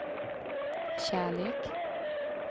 kärlek